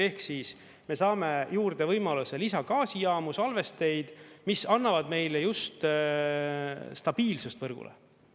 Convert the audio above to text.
Ehk siis me saame juurde võimaluse lisagaasijaamu, salvesteid, mis annavad meile just stabiilsust võrgule.